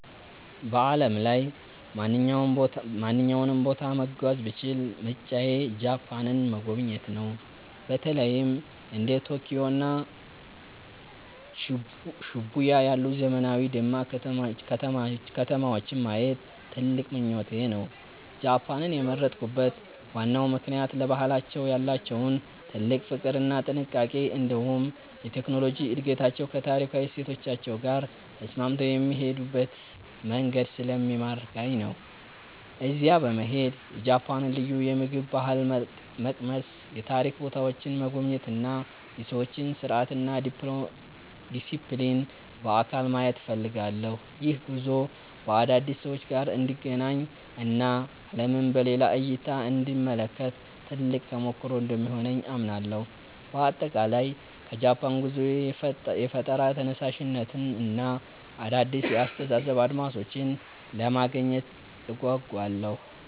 በዓለም ላይ ማንኛውንም ቦታ መጓዝ ብችል ምርጫዬ ጃፓንን መጎብኘት ነው። በተለይም እንደ ቶኪዮ እና ሺቡያ ያሉ ዘመናዊና ደማቅ ከተማዎችን ማየት ትልቅ ምኞቴ ነው። ጃፓንን የመረጥኩበት ዋናው ምክንያት ለባህላቸው ያላቸውን ጥልቅ ፍቅር እና ጥንቃቄ፣ እንዲሁም የቴክኖሎጂ እድገታቸው ከታሪካዊ እሴቶቻቸው ጋር ተስማምቶ የሚሄዱበት መንገድ ስለሚማርከኝ ነው። እዚያ በመሄድ የጃፓንን ልዩ የምግብ ባህል መቅመስ፣ የታሪክ ቦታዎችን መጎብኘት እና የሰዎችን ስርዓትና ዲሲፕሊን በአካል ማየት እፈልጋለሁ። ይህ ጉዞ ከአዳዲስ ሰዎች ጋር እንድገናኝ እና ዓለምን በሌላ እይታ እንድመለከት ትልቅ ተሞክሮ እንደሚሆነኝ አምናለሁ። በአጠቃላይ ከጃፓን ጉዞዬ የፈጠራ ተነሳሽነትን እና አዳዲስ የአስተሳሰብ አድማሶችን ለማግኘት እጓጓለሁ።